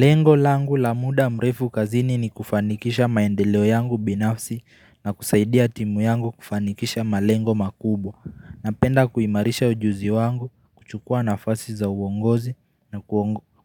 Lengo langu la muda mrefu kazini ni kufanikisha maendeleo yangu binafsi na kusaidia timu yangu kufanikisha malengo makubwa napenda kuimarisha ujuzi wangu kuchukua nafasi za uongozi na